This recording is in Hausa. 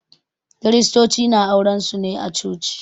Kiristoci na auren su ne a Coci.